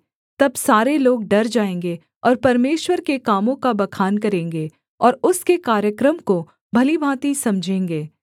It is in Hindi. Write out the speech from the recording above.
तब सारे लोग डर जाएँगे और परमेश्वर के कामों का बखान करेंगे और उसके कार्यक्रम को भली भाँति समझेंगे